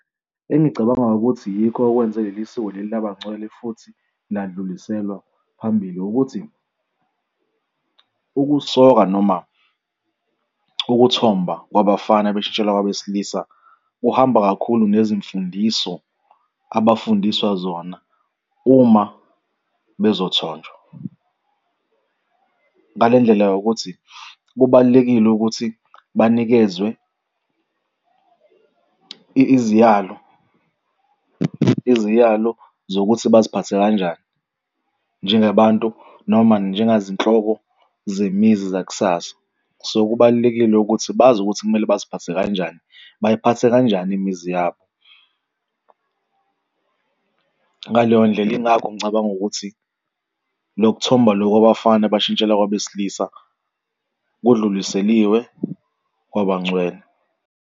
Engicabanga ukuthi yikho okwenze leli siko leli laba ngcwele futhi ladluliselwa phambili. Ukuthi ukusoka noma ukuthomba kwabafana beshintshela kwabesilisa kuhamba kakhulu nezimfundiso abafundiswa zona uma bezothonjwa. Ngale ndlela yokuthi kubalulekile ukuthi banikezwe iziyalo, iziyalo zokuthi baziphathe kanjani njengabantu noma njengazinhloko zemizi zakusasa. So kubalulekile ukuthi bazi ukuthi kumele baziphathe kanjani, bayiphathe kanjani imizi yabo. Ngaleyo ndlela yingakho ngicabanga ukuthi loku thomba loku kwabafana bashintshele kwabesilisa, kudluliseliwe kwabangcwele.